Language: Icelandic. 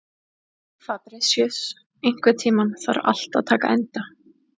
Fabrisíus, einhvern tímann þarf allt að taka enda.